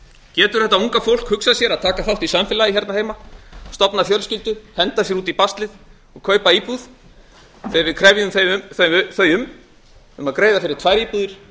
getur þetta unga fólk hugsað sér að taka þátt í samfélagi hérna heima stofna fjölskyldu henda sér út í baslið og kaupa íbúð þegar við krefjum þau um að greiða fyrir tvær íbúðir en